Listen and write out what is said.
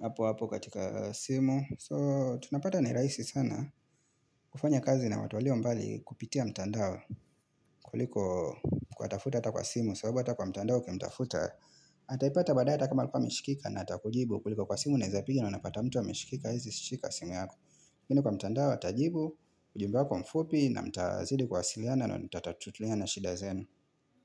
hapo hapo katika simu So tunapata ni rahisi sana kufanya kazi na watu walio mbali kupitia mtandao kuliko kuwatafuta ata kwa simu sababu ata kwa mtandao ukimtafuta Ataipata badae ata kama alikuwa ameshikika na ata kujibu kuliko kwa simu unaezapiga na unapata mtu ameshikika haezi shika simu yako lakini kwa mtandao atajibu ujumbe wako mfupi na mtazidi kuwasiliana na mtatatuliana shida zenu.